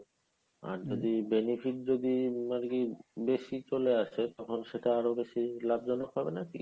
আর যদি benefit যদি আরকি বেশি চলে আসে তখন সেটা আরো বেশি লাভজনক হবে নাকি?